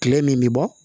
Kile min bi bɔ